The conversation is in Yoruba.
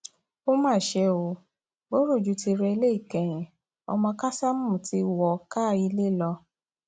ó mà ṣe o burújí ti rẹlẹ ìkẹyìn ọmọ kásámù ti wọ káà ilé lọ